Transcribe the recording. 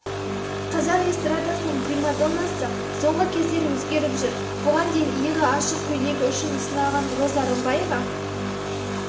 қазақ эстрадасының примадоннасы соңғы кездері өзгеріп жүр бұған дейін иығы ашық көйлегі үшін сыналған роза рымбаева